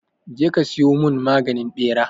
Je ka siyo mun maganin ɓera!